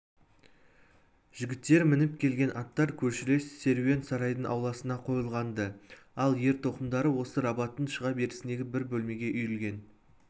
жігіттер мініп келген аттар көршілес керуен сарайдың ауласына қойылған-ды ал ер-тоқымдары осы рабаттың шыға берісіндегі бір бөлмеге үйілген